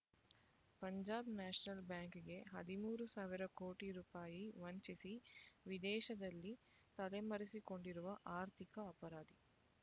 Punjab National ಬ್ಯಾಂಕ್‌ಗೆ ಹದಿಮೂರು ಸಾವಿರ ಕೋಟಿ ರೂಪಾಯಿ ವಂಚಿಸಿ ವಿದೇಶದಲ್ಲಿ ತಲೆ ಮರೆಸಿಕೊಂಡಿರುವ ಆರ್ಥಿಕ ಅಪರಾಧಿ